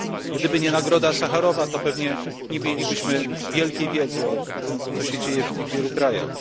Gdyby nie nagroda Sacharowa, to pewnie nie mielibyśmy wielkiej wiedzy o tym, co się dzieje w tych wielu krajach.